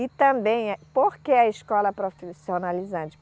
E também é, por que a escola profissionalizante?